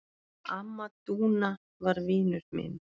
Amma Dúna var vinur minn.